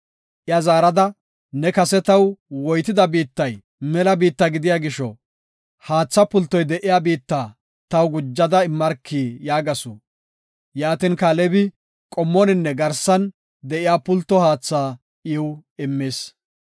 Iya zaarada, “Ne kase taw woytida biittay mela biitta gidiya gisho, haatha pultoy de7iya biitta taw gujada immarki” yaagasu. Yaatin, Kaalebi qommoninne garsan de7iya pulto haatha iw immis.